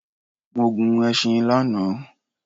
Mo gun ẹṣin lana